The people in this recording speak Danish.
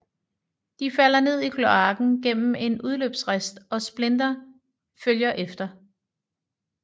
De falder ned i kloaken gennem en udløbsrist og Splinter følger efter